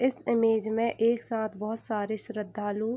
इस इमेज में एक साथ बहोत सारे श्रद्घालु --